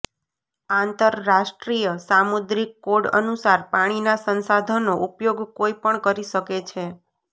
આંતરરાષ્ટ્રીય સામુદ્રિક કોડ અનુસાર પાણીના સંસાધનનો ઉપયોગ કોઈ પણ કરી શકે છે